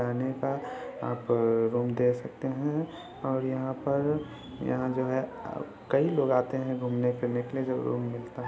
रहने का आप अ रूम देख सकते हैं और यहाँ पर यहाँ जो है अ कई लोग आते हैं घूमने फिरने के लिए जो रूम मिलता --